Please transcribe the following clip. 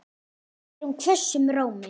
spyr hún hvössum rómi.